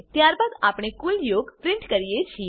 ત્યારબાદ આપણે કુલ યોગ પ્રીંટ કરીએ છીએ